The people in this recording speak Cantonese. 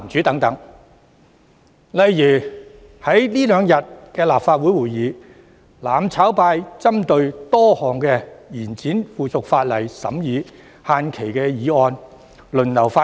在這兩天的立法會會議上，"攬炒派"針對多項延展附屬法例審議限期的議案輪流發言。